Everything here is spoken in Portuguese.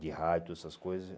De rádio, essas coisas.